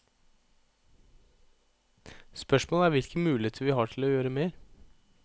Spørsmålet er hvilke muligheter vi har til å gjøre mer.